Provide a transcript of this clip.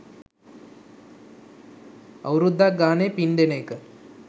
අවුරුද්දක් ගානේ පින් දෙන එක